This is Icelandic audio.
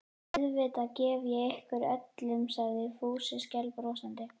Auðvitað gef ég ykkur öllum sagði Fúsi skælbrosandi.